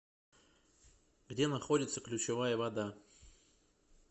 где находится ключевая вода